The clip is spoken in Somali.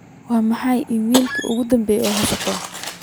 maxay ahayd iimaylkii ugu dambeeyay ee aan helay